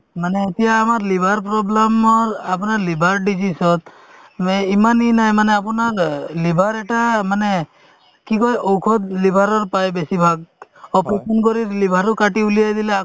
মানে এতিয়া আমাৰ liver problem ৰ আপোনাৰ liver disease ত যে ইমান নাই মানে আপোনাৰ অ liver এটা মানে কি কই ঔষধ liver ৰৰ পাই বেছিভাগ operation কৰি liver ও কাটি উলিয়াই দিলে